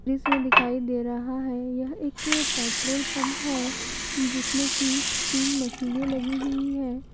इसमें दिखाई दे रहा है यह एक पेट्रोल पंप है जिसमें की तीन मशीने लगी हुई है।